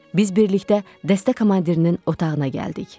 Biz birlikdə dəstə komandirinin otağına gəldik.